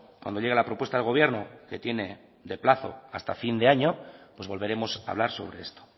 cuando llegue la propuesta del gobierno que tiene de plazo hasta fin de año pues volveremos a hablar sobre esto